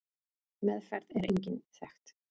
Meðferð er engin þekkt.